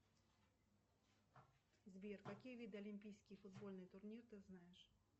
сбер какие виды олимпийский футбольный турнир ты знаешь